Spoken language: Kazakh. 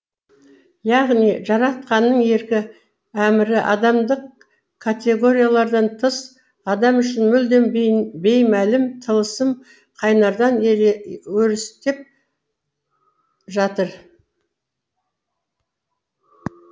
яғни жаратқанның еркі әмірі адамдық категориялардан тыс адам үшін мүлдем беймәлім тылсым қайнардан өрістеп жатыр